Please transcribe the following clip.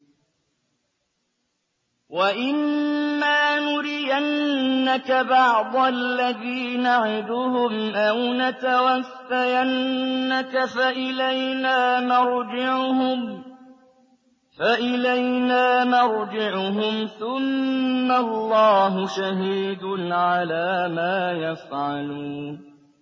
وَإِمَّا نُرِيَنَّكَ بَعْضَ الَّذِي نَعِدُهُمْ أَوْ نَتَوَفَّيَنَّكَ فَإِلَيْنَا مَرْجِعُهُمْ ثُمَّ اللَّهُ شَهِيدٌ عَلَىٰ مَا يَفْعَلُونَ